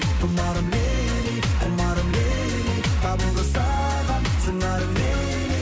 тұмарым лейли кұмарым лейли табылды саған сыңарың лейли